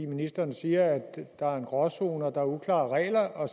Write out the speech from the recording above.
ministeren siger at der er en gråzone og at der er uklare regler og